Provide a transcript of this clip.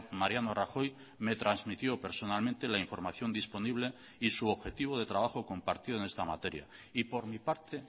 mariano rajoy me trasmitió personalmente la información disponible y su objetivo de trabajo compartido en esta materia y por mi parte